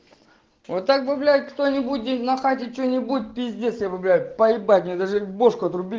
вот так бы блять кто-нибудь на хате что-нибудь пиздец я блядь поебать я даже бошку отрубили